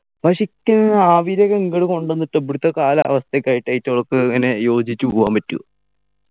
പക്ഷേ ഇക്ക് ആവിരൊക്കെ ഇങ്ങട് കൊണ്ടുവന്നിട്ട് ഇവിടുത്തെ കാലാവസ്ഥക്കായിട്ടു ഇവറ്റകക്ക് എങ്ങനെ യോജിച്ചു പോകാൻ പറ്റുവൊ